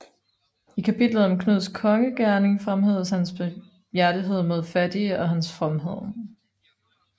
I kapitlet om Knuds kongegerning fremhæves hans barmhjertighed mod fattige og hans fromhed